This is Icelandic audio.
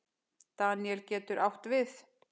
Daníel getur átt við